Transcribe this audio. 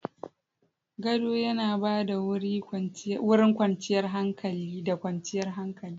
Gado yana ba da wurin kwanciyar hankali da kwanciyar hankali.